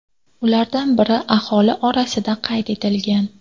Ulardan biri aholi orasida qayd etilgan.